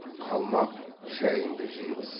қалмақ шайыңды жиғыз